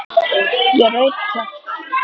Ég reif kjaft.